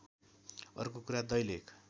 अर्को कुरा दैलेख